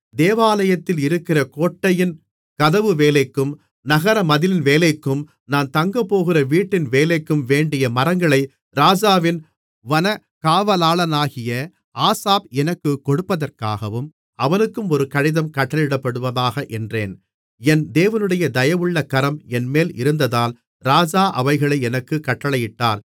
தேவாலயத்தில் இருக்கிற கோட்டையின் கதவு வேலைக்கும் நகரமதிலின் வேலைக்கும் நான் தங்கப்போகிற வீட்டின் வேலைக்கும் வேண்டிய மரங்களை ராஜாவின் வனக் காவலாளனாகிய ஆசாப் எனக்குக் கொடுப்பதற்காகவும் அவனுக்கும் ஒரு கடிதம் கட்டளையிடப்படுவதாக என்றேன் என் தேவனுடைய தயவுள்ள கரம் என்மேல் இருந்ததால் ராஜா அவைகளை எனக்குக் கட்டளையிட்டார்